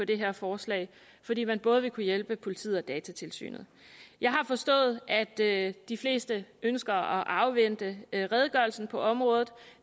det her forslag fordi man både vil kunne hjælpe politiet og datatilsynet jeg har forstået at de fleste ønsker at afvente redegørelsen på området